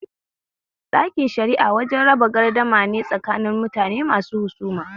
Ɗakin shari'a wajen raba garda mane tsakanin mutune masu husuma